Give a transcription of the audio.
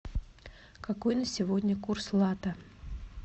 какой на сегодня курс лата